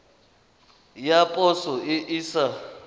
ya poso e e sa